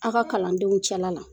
A ka kalandenw cɛla la